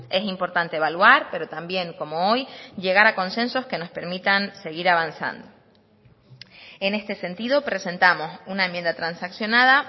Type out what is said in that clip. es importante evaluar pero también como hoy llegar a consensos que nos permitan seguir avanzando en este sentido presentamos una enmienda transaccionada